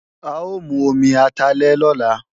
A ó mu omi atalẹ̀ lọ́la